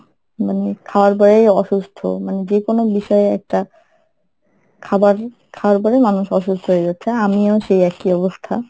মানে খাওয়ার পরেই অসুস্থ মানে যে কোনো বিষয় এ একটা খাবার খাওয়ার পরে মানুষ অসুস্থ হয়ে যাচ্ছে আমিও সেই একই অবস্থা।